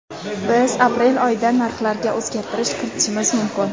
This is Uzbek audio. Biz aprel oyidan narxlarga o‘zgartirish kiritishimiz mumkin.